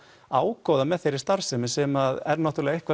ágóða með þeirri starfsemi sem er náttúrulega eitthvað